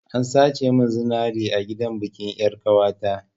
An sace mun zinari a gidan bikin yar'ƙawata.